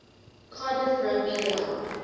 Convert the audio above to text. cardiff rugby ground